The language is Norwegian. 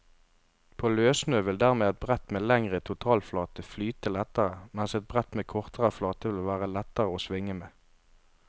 På løssnø vil dermed et brett med lengre totalflate flyte lettere, mens et brett med kortere flate vil være lettere å svinge med.